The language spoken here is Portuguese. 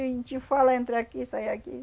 A gente fala, entra aqui, sai aqui.